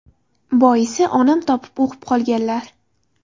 Boisi, onam topib o‘qib qolganlar.